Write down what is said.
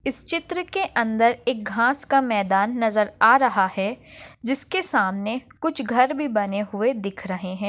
इस चित्र के अंदर एक घास का मैदान नजर आ रहा है जिसके सामने कुछ घर भी बने हुए दिख रहे है।